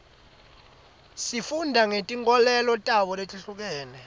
sifunda ngetinkolelo tabo letihlukene